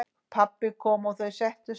Pabbi kom og þau settust.